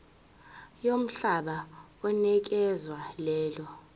yomhlaba onikezwe lelo